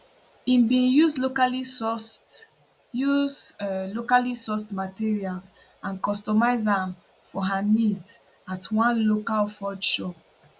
im bin use locallysourced use locallysourced materials and customise am for her needs at one local forge shop